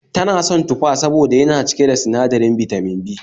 Ta na son tufa saboda yana cike da sinadirin Bitamin B